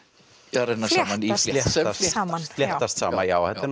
renna saman fléttast saman fléttast saman já þetta er